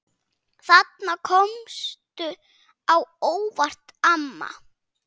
Þarna komstu á óvart, amma.